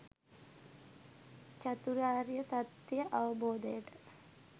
චතුරාර්ය සත්‍යය අවබෝධයට